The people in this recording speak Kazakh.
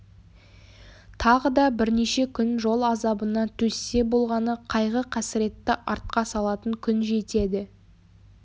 тағы да бірнеше күн жол азабына төзсе болғаны қайғы-қасіретті артқа салатын күн жетеді